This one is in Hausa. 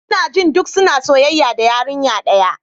Ina jin duk suna soyayya da yarinya daya.